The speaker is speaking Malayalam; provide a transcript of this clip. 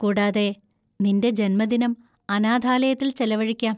കൂടാതെ, നിന്‍റെ ജന്മദിനം അനാഥാലയത്തിൽ ചെലവഴിക്കാം.